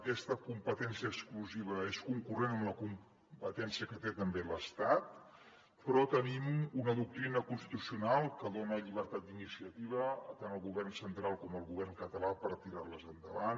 aquesta competència exclusiva és concurrent amb la competència que té també l’estat però tenim una doctrina constitucional que dona llibertat d’iniciativa tant al govern central com al govern català per tirar les endavant